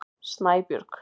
Snæbjörg